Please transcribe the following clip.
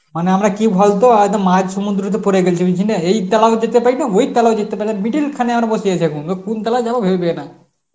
মানে আমরা কি বলতো একদম মাঝ সমুদ্র তে পড়ে গেছি এই কিনে এই তালায় যেতে পারবো না ওই তালায়ও যেতে পারবো না middle খানে আমরা বসিয়ে যাব এবার কোন তালায় যাব ভেবে পায় না